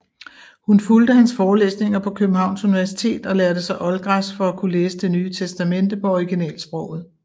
Hun fulgte hans forelæsninger på Københavns Universitet og lærte sig oldgræsk for at kunne læse Det Nye Testamente på originalsproget